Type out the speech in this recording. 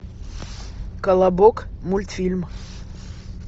колобок мультфильм